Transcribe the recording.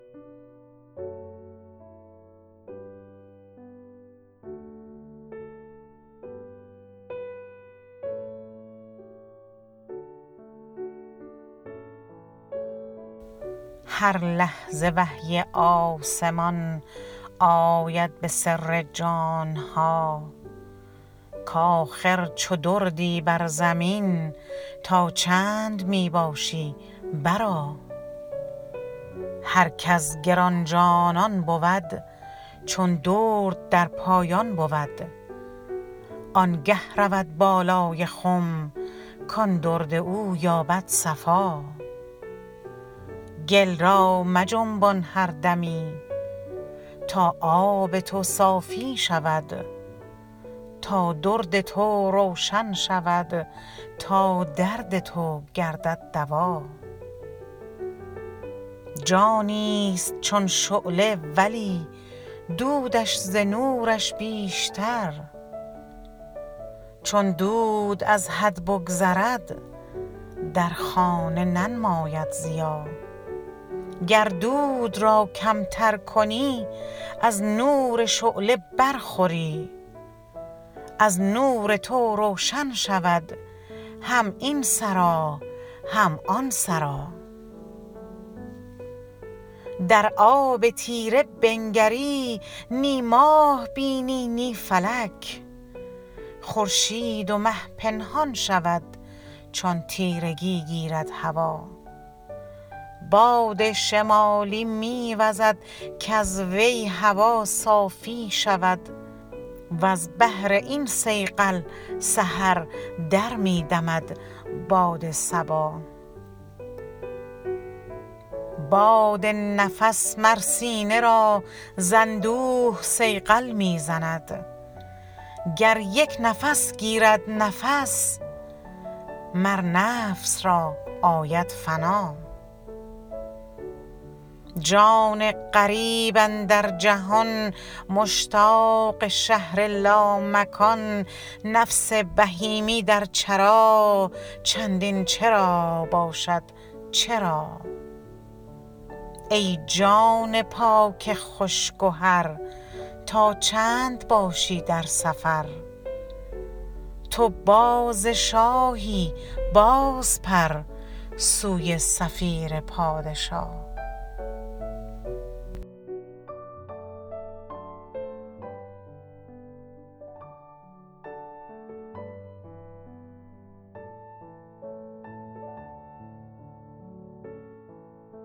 هر لحظه وحی آسمان آید به سر جان ها کاخر چو دردی بر زمین تا چند می باشی برآ هر کز گران جانان بود چون درد در پایان بود آنگه رود بالای خم کان درد او یابد صفا گل را مجنبان هر دمی تا آب تو صافی شود تا درد تو روشن شود تا درد تو گردد دوا جانیست چون شعله ولی دودش ز نورش بیشتر چون دود از حد بگذرد در خانه ننماید ضیا گر دود را کمتر کنی از نور شعله برخوری از نور تو روشن شود هم این سرا هم آن سرا در آب تیره بنگری نی ماه بینی نی فلک خورشید و مه پنهان شود چون تیرگی گیرد هوا باد شمالی می وزد کز وی هوا صافی شود وز بهر این صیقل سحر در می دمد باد صبا باد نفس مر سینه را ز اندوه صیقل می زند گر یک نفس گیرد نفس مر نفس را آید فنا جان غریب اندر جهان مشتاق شهر لامکان نفس بهیمی در چرا چندین چرا باشد چرا ای جان پاک خوش گهر تا چند باشی در سفر تو باز شاهی بازپر سوی صفیر پادشا